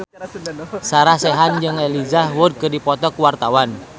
Sarah Sechan jeung Elijah Wood keur dipoto ku wartawan